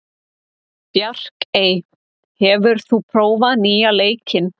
Bjarkey, hefur þú prófað nýja leikinn?